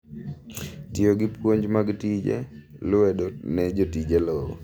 Tiyo gi puonj mag tije lwedo ne jotije lowo.